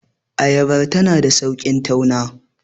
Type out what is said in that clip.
ayaba tana da sauki tauna